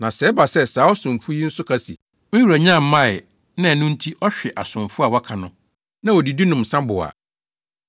Na sɛ ɛba sɛ saa ɔsomfo yi nso ka se, ‘Me wura nnya mmae’ na ɛno nti, ɔhwe asomfo a wɔaka no, na odidi, nom nsa bow a,